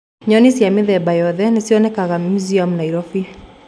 Nyoni cia mĩthemba yoothe nĩcionekaga Meuseum Nairobi